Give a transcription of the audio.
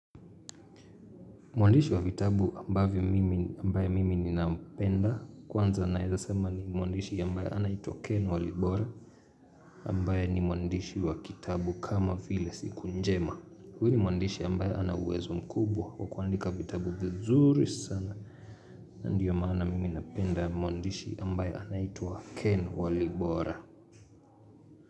Mwandishi wa vitabu ambaye mimi ninampenda, kwanza naezasema ni mwandishi ambaye anaitua Ken Walibora ambaye ni mwandishi wa kitabu kama file siku njema huyu ni mwandishi ambaye anauwezo mkubwa wakuandika vitabu vizuri sana Ndiyo maana mimi napenda mwandishi ambaye anaitua Ken Walibora.